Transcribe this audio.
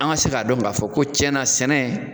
An ka se k'a dɔn ka fɔ ko cɛnna sɛnɛ